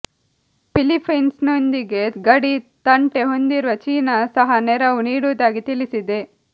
ಫಿಲಿಪ್ಪೀನ್್ಸನೊಂದಿಗೆ ಗಡಿ ತಂಟೆ ಹೊಂದಿರುವ ಚೀನಾ ಸಹ ನೆರವು ನೀಡುವುದಾಗಿ ತಿಳಿಸಿದೆ